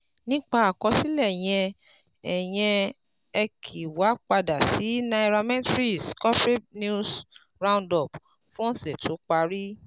Nípa àkọsílẹ̀ yẹn, ẹ yẹn, ẹ kí wa padà sí Nairametrics Corporate News Roundup fún ọ̀sẹ̀ tó parí